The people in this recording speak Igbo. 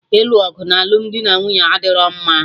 Ịnụ ọgụ na alụmdi na nwunye adịro mma